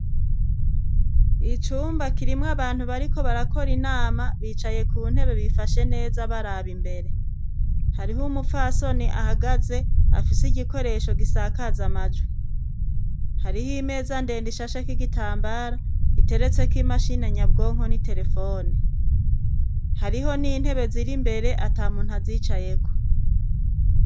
Icumba kirimwe abantu bariko barakora inama bicaye ku ntebe bifashe neza baraba imbere hariho umupfasoni ahagaze afise igikoresho gisakaza amajwi hariho imeza ndenda ishasheka igitambara giteretseko imashina nyabwonko n'i telefone hariho ni intebe ziri mbere ata muntu azicayeko.